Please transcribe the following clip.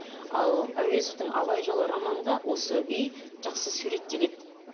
ал әуезовтің абай жолы романында осы үй жақсы суреттеледі